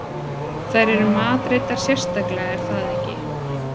Þær eru matreiddar sérstaklega er það ekki?